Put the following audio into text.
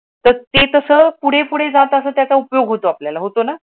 तर ते कसं पुढे पुढे जात उपयोग होतो आपल्याला. होतो ना?